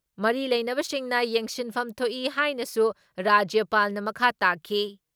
ꯃꯔꯤ ꯂꯩꯅꯕꯁꯤꯡꯅ ꯌꯦꯡꯁꯤꯟꯐꯝ ꯊꯣꯛꯏ ꯍꯥꯏꯅꯁꯨ ꯔꯥꯖ꯭ꯌꯄꯥꯜꯅ ꯃꯈꯥ ꯇꯥꯈꯤ ꯫